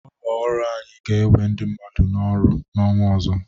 Ụlọ orụ anyị ga-ewe ndị mmadụ n´ọrụ n'ọnwa ọzọ.